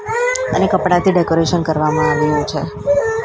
અને કપડાથી ડેકોરેશન કરવામાં આવ્યું છે .